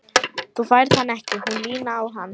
Þú færð hann ekki. hún Lína á hann!